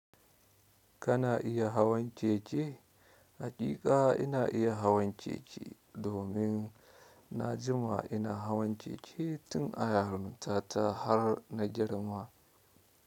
Kana iya hawan keke? Haƙiƙa ina iya hawan keke, domin na jima ina hawan cece tun a yarinta ta har na girma.